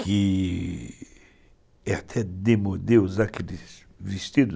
que é até demodê usar aqueles vestidos.